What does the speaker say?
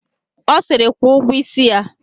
Ọ siri, kwụọ ụgwọ isi ya!